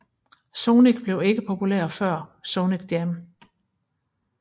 Sonic blev ikke populær der før Sonic Jam